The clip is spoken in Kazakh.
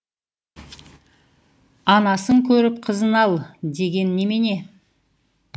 анасын көріп қызын ал деген немене